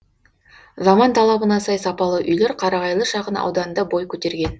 заман талабына сай сапалы үйлер қарағайлы шағын ауданында бой көтерген